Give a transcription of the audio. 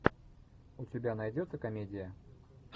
у тебя найдется комедия